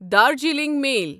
Darjeeling میل